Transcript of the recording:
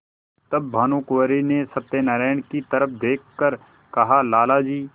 तब भानुकुँवरि ने सत्यनारायण की तरफ देख कर कहालाला जी